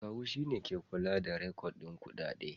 Akawu shine ke kula da rikodin kuɗaɗe.